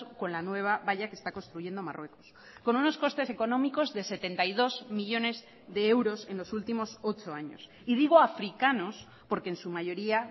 con la nueva valla que está construyendo marruecos con unos costes económicos de setenta y dos millónes de euros en los últimos ocho años y digo africanos porque en su mayoría